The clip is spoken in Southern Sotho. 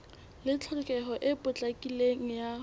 le tlhokeho e potlakileng ya